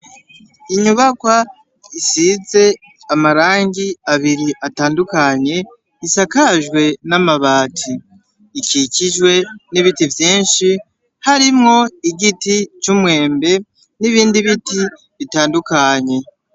Inyubakwa isize amarangi abiri atandukanye, isakajwe n'amabati, ikikijwe n'ibiti vyinshi harimwo igiti c'umwembe n'ibindi biti bitandukanye.